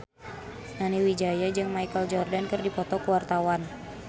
Nani Wijaya jeung Michael Jordan keur dipoto ku wartawan